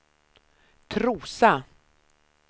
Trosa